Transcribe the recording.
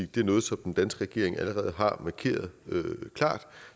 det er noget som den danske regering allerede har markeret klart